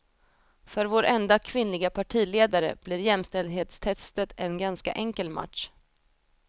För vår enda kvinnliga partiledare blir jämställdhetstestet en ganska enkel match.